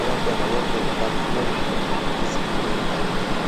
abantwana bonke bafunde izinga eliphansi.